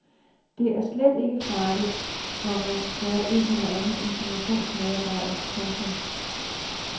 Det er slet ikke farligt, komma sagde en eller anden informationsmedarbejder. punktum